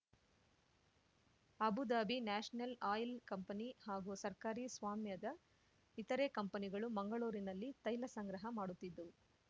Abu Dhabi national oil company ಹಾಗೂ ಸರ್ಕಾರಿ ಸ್ವಾಮ್ಯದ ಇತರೆ ಕಂಪನಿಗಳು ಮಂಗಳೂರಿನಲ್ಲಿ ತೈಲ ಸಂಗ್ರಹ ಮಾಡುತ್ತಿದ್ದವು